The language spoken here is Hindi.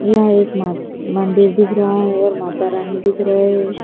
यह एक मां मंदिर दिख रहा है और माता रानी दिख रहे --